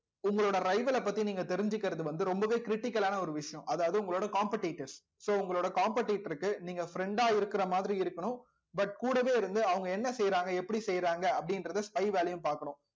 உங்களோட பத்தி நீங்க தெரிஞ்சுக்கிறது வந்து ரொம்பவே critical ஆன ஒரு விஷயம் அதாவது உங்களோட competitors so உங்களோட competitor க்கு நீங்க friend ஆ இருக்கிற மாதிரி இருக்கணும் but கூடவே இருந்து அவங்க என்ன செய்றாங்க எப்படி செய்யறாங்க அப்படின்றதை spy வேலையும் பாக்கணும்